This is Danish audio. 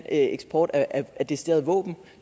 eksport af decideret våben